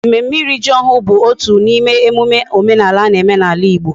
Mmemme iri ji ohuru bu otu na ime emume omenala na ala Igbo